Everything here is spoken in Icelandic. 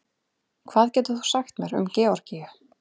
Hvað getur þú sagt mér um Georgíu?